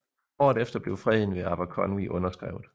Året efter blev freden ved Aberconwy underskrevet